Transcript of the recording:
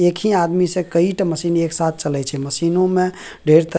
एक ही आदमी से कइटा मशीन एक साथ चलय छे मशीनो में ढेर तर --